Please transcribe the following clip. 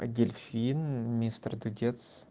а дельфин мистер дудец